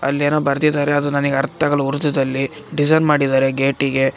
ಅಲ್ಲಿ ಏನೋ ಬರದಿದ್ದರೆ ಅದು ನನಗ ಅರ್ಥಗಲ್ಲ ಉರ್ದುದಲ್ಲಿ ಡಿಸೈನ್‌ ಮಾಡಿದ್ದಾರೆ ಗೆಟಿಗೆ .